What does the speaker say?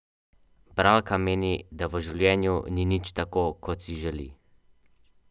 Koliko je izvrstnih dosežkov učenk, učencev, vas, mladih.